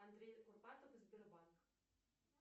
андрей курпатов и сбербанк